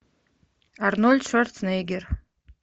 арнольд шварценеггер